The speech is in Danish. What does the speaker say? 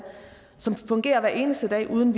som fungerer hver eneste dag uden